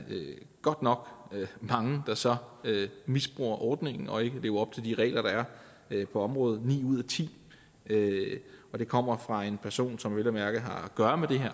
godt nok mange der så misbruger ordningen og ikke lever op til de regler der er på området ni ud af ti og det kommer fra en person som vel at mærke har at gøre med det her